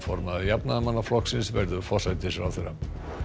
formaður Jafnaðarmannaflokksins verður forsætisráðherra